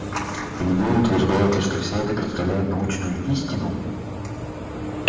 и вы утверждаете что все это представляет научную истину